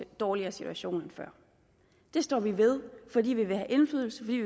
dårligere situation end før det står vi ved fordi vi vil have indflydelse fordi